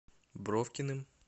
бровкиным